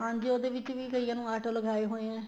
ਹਾਂਜੀ ਉਹਦੇ ਵਿੱਚ ਵੀ ਕਈਆਂ ਨੂੰ auto ਲਗਾਏ ਹੋਏ ਹੈ